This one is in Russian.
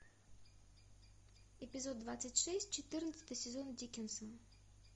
эпизод двадцать шесть четырнадцатый сезон дикинсон